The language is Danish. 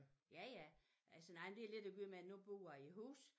Ja ja altså nej men det har lidt at gøre med nu bor jeg i hus